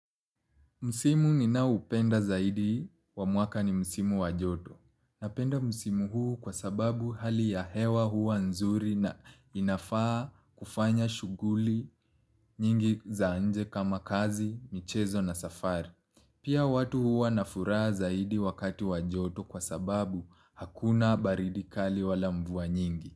Msimu ninaoupenda zaidi, wa mwaka ni msimu wa joto. Napenda msimu huu kwa sababu hali ya hewa huwa nzuri na inafaa kufanya shughuli nyingi za nje kama kazi, michezo na safari. Pia watu huwa na furaha zaidi wakati wa joto kwa sababu hakuna baridi kali wala mvua nyingi.